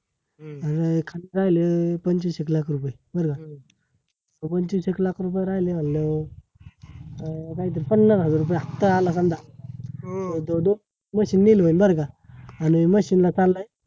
खात्यात राहिले पंचवीस एक लाख रुपये, बर का? मग, पंचवीस एक लाख रुपये राहिले म्हटल्यावर पन्नास हजार रुपये हफ्ता आला गल्ला machine बर का? आणि machine ला चाललंय